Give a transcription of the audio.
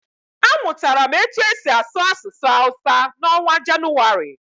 A mụtara m etu e si asụ asụsụ hawusa n'ọnwa Janụwarị.